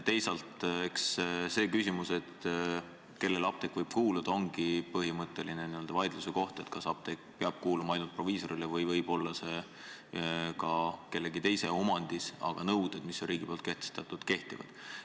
Teisalt, eks see küsimus, kellele apteek võib kuuluda, ongi põhimõtteline n-ö vaidluskoht – kas apteek peab kuuluma ainult proviisorile või võib see olla ka kellegi teise omandis –, aga nõuded, mille riik on kehtestanud, kehtivad.